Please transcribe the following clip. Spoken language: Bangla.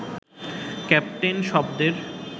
ক্যাপ্টেন শব্দের